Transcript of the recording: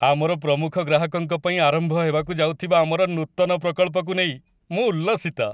ଆମର ପ୍ରମୁଖ ଗ୍ରାହକଙ୍କ ପାଇଁ ଆରମ୍ଭ ହେବାକୁ ଯାଉଥିବା ଆମର ନୂତନ ପ୍ରକଳ୍ପକୁ ନେଇ ମୁଁ ଉଲ୍ଲସିତ।